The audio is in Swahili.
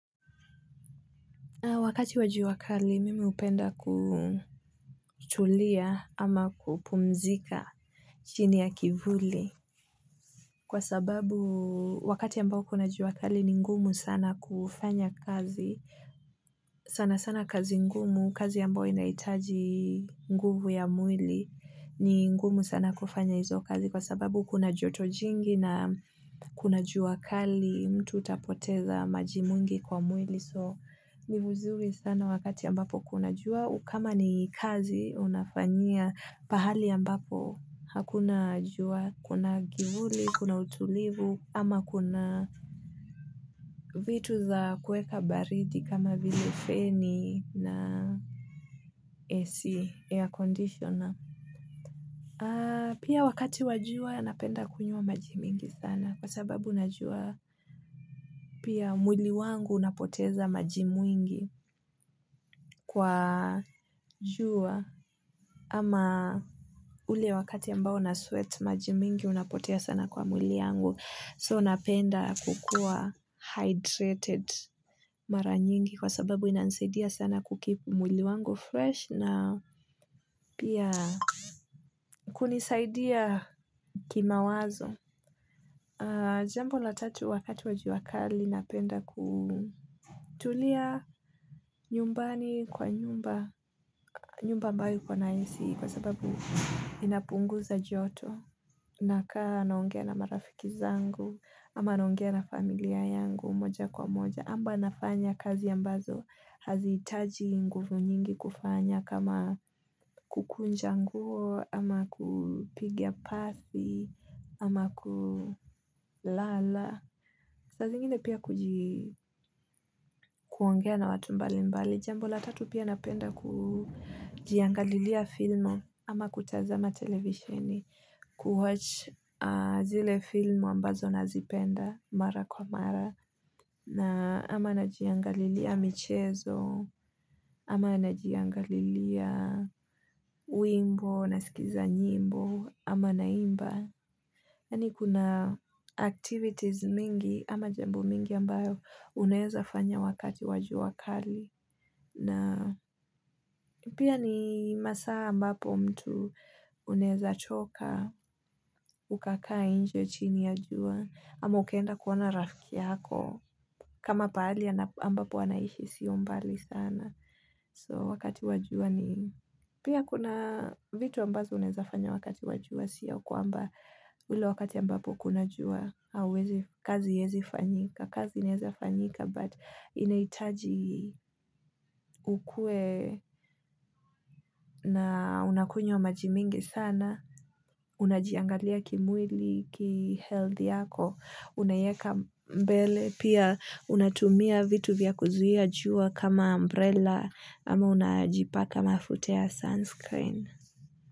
Wakati wa jua kali, mimi hupenda kutulia ama kupumzika chini ya kivuli. Kwa sababu, wakati ambao kuna jua kali, ni ngumu sana kufanya kazi. Sanasana kazi ngumu, kazi ambayo inahitaji nguvu ya mwili, ni ngumu sana kufanya hizo kazi. Kwa sababu, kuna joto jingi na kuna jua kali, mtu hupoteza maji mengi kwa mwili. So ni vuzuri sana wakati ambapo kuna jua kama ni kazi unafanyia pahali ambapo hakuna jua kuna kivuli, kuna utulivu ama kuna vitu za kuweka baridi kama vili feni na AC air conditioner pia wakati wa jua napenda kunywa maji mingi sana kwa sababu najua pia mwili wangu unapoteza maji mingi kwa jua kama ule wakati ambayo na sweat maji mingi unapotea sana kwa mwili yangu so napenda kukuwa hydrated mara nyingi kwa sababu inanisaidia sana ku-keep mwili wangu fresh na pia kunisaidia kimawazo jambo la tatu wakati wa jua kali napenda kutulia nyumbani kwa nyumba ambayo iko na AC kwa sababu inapunguza joto. Nakaa naongea na marafiki zangu, ama naongea na familia yangu moja kwa moja. Ama nafanya kazi ambazo, hazihitaji nguvu nyingi kufanya kama kukunja nguo, ama kupiga pasi, ama kulala. Saa zingine pia kuongea na watu mbalimbali. Jambo la tatu pia napenda kujiangalia filamu, ama kutazama televisheni ku-watch zile film ambazo nazipenda mara kwa mara ama najiangalia michezo ama najiangalia wimbo nasikiza nyimbo ama naimba. Yani kuna activities mingi ama jambo mingi ambayo unaweza fanya wakati wa jua kali pia ni masaa ambapo mtu unaweza choka, ukakaa nje chini ya jua, ama ukaenda kuona rafiki yako, kama pahali ambapo anaishi siyo mbali sana. So wakati wa jua pia kuna vitu ambazo unaweza fanya wakati wa jua siyo kwamba hilo wakati ya ambapo kuna jua kazi haiwezi kufanyika kazi inaweza fanyika but inahitaji ukue na unakunywa maji mingi sana unajiangalia kimwili health yako unaiweka mbele pia unatumia vitu vya kuzuia jua kama umbrella ama unajipaka mafutea sunscreen.